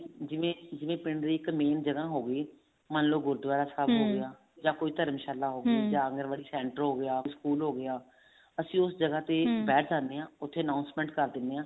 ਜਿਵੇਂ ਜਿਵੇਂ ਪਿੰਡ ਦੀ ਇੱਕ main ਜਗ੍ਹਾ ਹੋਗੀ ਮੰਨਲੋ ਗੁਰੂਦਵਾਰਾ ਸਾਹਿਬ ਜਾਂ ਕੋਈ ਧਰਮਸ਼ਾਲਾ ਜਾਂ ਫੇਰ ਕੋਈ center ਹੋਗਿਆ ਸਕੂਲ ਹੋਗਿਆ ਅਸੀਂ ਉਸ ਤੇ ਬੈਠ ਸਕਦੇ ਹਾਂ ਉੱਥੇ announcement ਕਰ ਦਿੰਨੇ ਹਾਂ